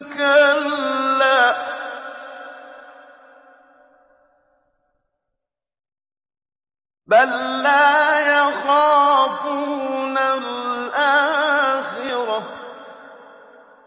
كَلَّا ۖ بَل لَّا يَخَافُونَ الْآخِرَةَ